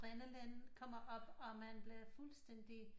Adrenalin kommer op og man bliver fuldstændig